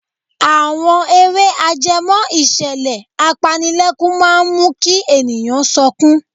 Àwọn eré ajẹmọ́ ìṣẹ̀lẹ̀ apanilẹ́kún máa ń mú kí ènìyàn sọkún.